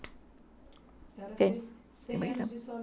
A senhora fez cem anos de